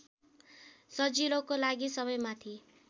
सजिलोको लागि सबैमाथि